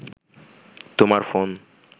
তোমার ফোন